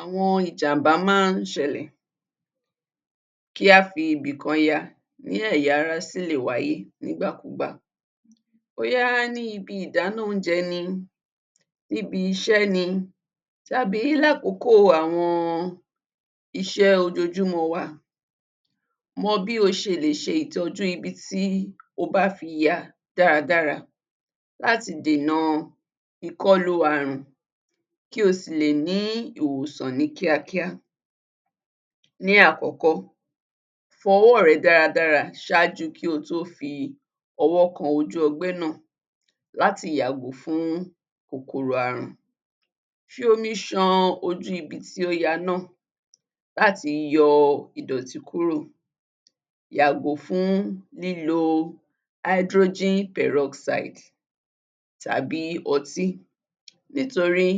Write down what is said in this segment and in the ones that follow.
Àwọn ìjàmbá máa ń ṣẹlẹ̀. Kí á fi ibìkan ya ní ẹ̀yà ara sì lè wáyé nígbàkúgbà. Bóyá ní ibi ìdáná oúnjẹ ni, níbi iṣẹ́ ni tàbí lákòókò àwọn iṣẹ́ ojoojúmọ́ wa. Mọ bí o ṣe lè ṣe ìtọ́jú ibi tí o bá fi ya dáradára láti dènà ìkọlù ààrùn, kí o sì lè ní ìwòsàn ní kíákíá. Ní àkọ́kọ́, fọ ọwọ́ rẹ dáradára ṣáájú kí o tó fi ọwọ́ kan ojú ọgbẹ́ náà láti yàgò fún kòkòrò ààrùn. Fi omi ṣan ojú ibi tí ó ya náà láti yọ ìdọ̀tí kúrò. Yàgò fún lílo hydrogen peroxide tàbí ọtí nítorí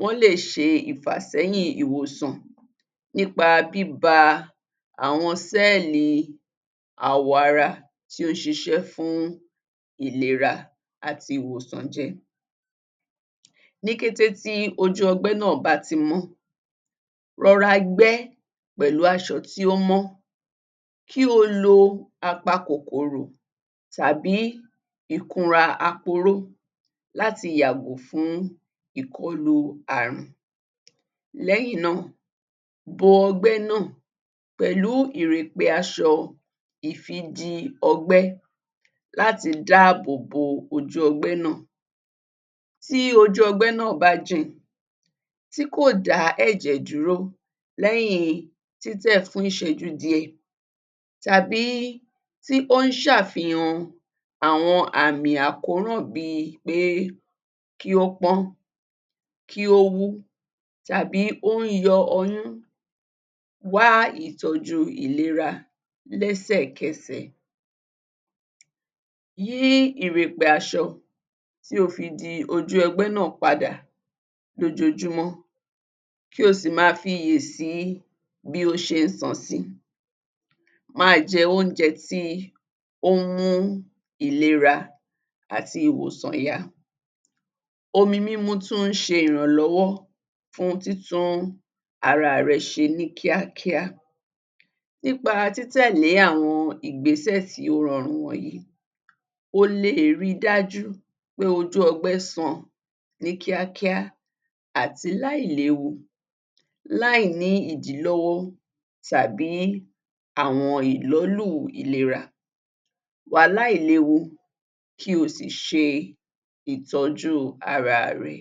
wọ́n lè ṣe ìfàsẹ́yìn ìwòsàn nípa bíba àwọn sẹ́ẹ̀lì àwọ̀ ara tí ó ṣiṣẹ́ fún ìlera àti ìwòsàn jẹ́. Ní kété tí ojú ọgbẹ́ náà bá ti mọ́, rọra gbẹ́ pẹ̀lú aṣọ ti ó mọ́, kí o lo apakòkòrò tàbí ìkunra aporó láti yàgò fún ìkọlù ààrùn. Lẹ́yìn náà, bo ọgbẹ́ náà pẹ̀lú ìrèpè aṣọ ìfidi-ọgbẹ́ láti dáàbò bo ojú ọgbẹ́ náà. Tí ojú ọgbẹ́ náà bá jìn, tí kò dá ẹ̀jẹ̀ dúró lẹ́yìn títẹ̀ fún ìṣẹ́jú díẹ̀, tàbí tí ó ń ṣafihàn àwọn àmì àkóràn bíi pé kí ó pọ́n, kí ó wú, tàbí ó n yọ ọyún, wá ìtọ́jú ìlera lẹ́sẹ̀kẹsẹ̀. Yí ìrèpè aṣọ tí o fi di ojú ọgbẹ́ náà padà lójoojúmọ́, kí o sì máa fi iyè sí bí ó ṣe ń san sí i. Máa jẹ oúnjẹ tí ó ń mú ìlera àti ìwòsàn yá. Omi mímu tún ń ṣe ìrànlọ́wọ́ fún títún ara rẹ ṣe ní kíákíá. Nípa títẹ̀lé àwọn ìgbésẹ̀ tí ó rọrùn wọ̀nyìí, o leè rí i dájú pé ojú ọgbẹ́ san ní kíákíá àti láìléwu, láì ní ìdílọ́wọ́ tàbí àwọn ìlọ́lù ìlera. Wà láìléwu kí o sì ṣe ìtọ́jú ara rẹ.